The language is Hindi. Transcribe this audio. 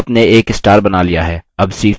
आपने एक star बना लिया है